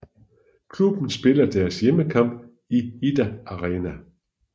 Klubben spiller deres hjemmekamp i Idda Arena